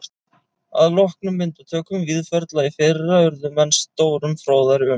Að loknum myndatökum Víðförla í fyrra urðu menn stórum fróðari um